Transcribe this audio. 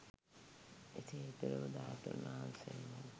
එසේ ඉතිරි වු ධාතුන් වහන්සේලා